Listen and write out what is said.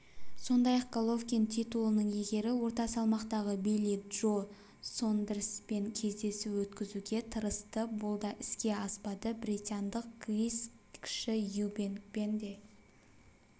сондай-ақ головкин титулының иегері орта салмақтағы билли джо сондерспен кездесу өткізуге тырысты бұл да іске аспады британдық крис кіші юбенкпен де